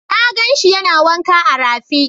Na gan shi yana wanka a rafi.